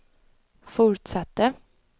fortsatte